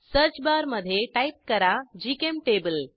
search bar मधे type करा GChemTable